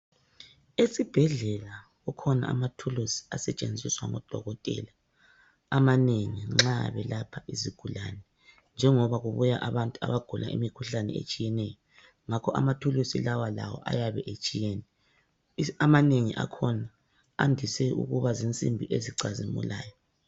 Esibhedlela kukhona amathuluzi asetshenziswa ngodokotela amanengi nxa belapha izigulane njengoba kubuya abantu abagula imikhuhlane etshiyeneyo, ngakho amathuluzi lawa lawo ayabe etshiyene amanengi akhona andise ukuba zinsimbi ezicazimulayo.